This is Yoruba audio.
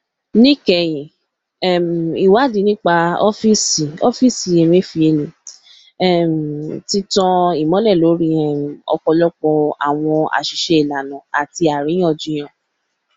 níkẹyìn um ìwádìí nípa ọfíìsì ọfíìsì emefiele um ti tan ìmọlẹ lórí um ọpọlọpọ àwọn àṣìṣe ìlànà àti àríyànjiyàn